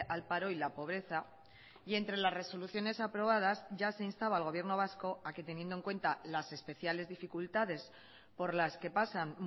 al paro y la pobreza y entre las resoluciones aprobadas ya se instaba al gobierno vasco a que teniendo en cuenta las especiales dificultades por las que pasan